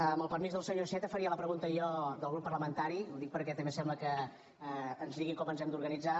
amb el permís del senyor iceta faria la pregunta jo del grup parlamentari ho dic perquè també sembla que ens digui com ens hem d’organitzar